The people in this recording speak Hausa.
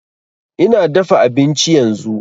Ina dafa abinci yanzu